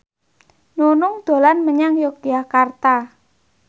Nunung dolan menyang Yogyakarta